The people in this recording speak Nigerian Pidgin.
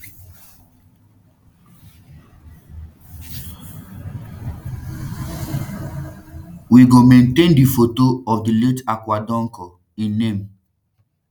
we go maintain di photo of di late akua donkor im name